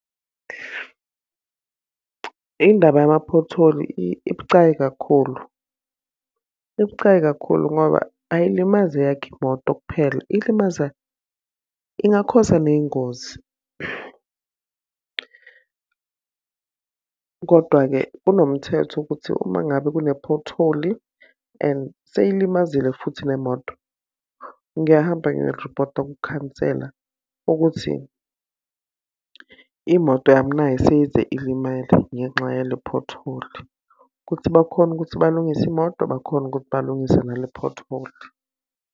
Indaba yama-pothole ibucayi kakhulu. Ibucayi kakhulu ngoba ayilimazi eyakho imoto kuphela, ilimaza ingakhoza ney'ngozi. Kodwa-ke kunomthetho ukuthi uma ngabe kune-pothole and seyilimazile futhi nemoto, ngiyahamba ngiyoriphotha kukhansela ukuthi imoto yami nayi seyize ilimele ngenxa yale-pothole. Ukuthi bakhone ukuthi balungise imoto, bakhone ukuthi balungise nale-pothole.